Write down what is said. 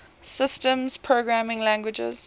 systems programming languages